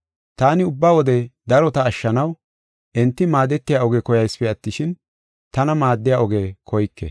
Taani ubba wode darota ashshanaw enti maadetiya oge koyaysipe attishin tana maaddiya oge koyke.